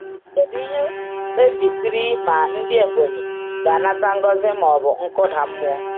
Kedu ihe kpebisiri ma ndị Ebonyi ga-anata ngọzi ma ọ bụ nkụda mmụọ?